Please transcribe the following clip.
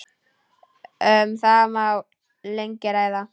Um það má lengi ræða.